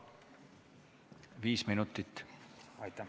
Viis minutit.